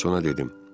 Mən sonra dedim: